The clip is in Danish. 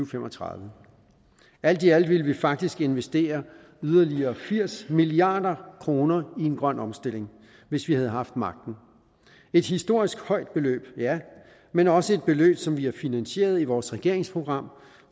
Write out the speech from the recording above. fem og tredive alt i alt ville vi faktisk investere yderligere firs milliard kroner i en grøn omstilling hvis vi havde haft magten et historisk højt beløb ja men også et beløb som vi har finansieret i vores regeringsprogram